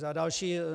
Za další.